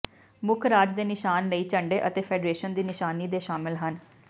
ਮੁੱਖ ਰਾਜ ਦੇ ਨਿਸ਼ਾਨ ਲਈ ਝੰਡੇ ਅਤੇ ਫੈਡਰੇਸ਼ਨ ਦੀ ਨਿਸ਼ਾਨੀ ਦੇ ਸ਼ਾਮਲ ਹਨ